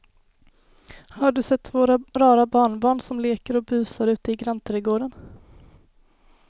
Har du sett våra rara barnbarn som leker och busar ute i grannträdgården!